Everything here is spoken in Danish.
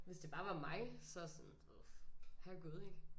Hvis det bare var mig så sådan du ved herregud ik